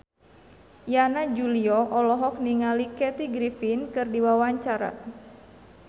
Yana Julio olohok ningali Kathy Griffin keur diwawancara